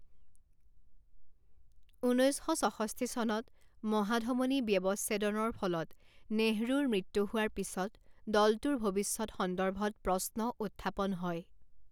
ঊনৈছ শ ছষষ্ঠি চনত মহাধমনী ব্যৱচ্ছেদনৰ ফলত নেহৰুৰ মৃত্যু হোৱাৰ পিছত দলটোৰ ভৱিষ্যৎ সন্দৰ্ভত প্ৰশ্ন উত্থাপন হয়।